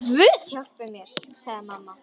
Guð hjálpi mér, sagði amma.